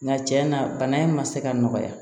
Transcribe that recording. Nka cɛn na bana in ma se ka nɔgɔya